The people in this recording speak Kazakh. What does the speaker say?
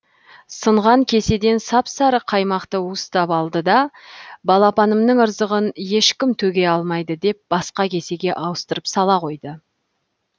сынған кеседен сап сары қаймақты уыстап алды да балапанымның ырзығын ешкім төге алмайды деп басқа кесеге ауыстырып сала қойды